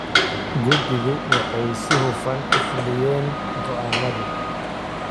Guddidu waxay si hufan u fuliyeen go'aamadii.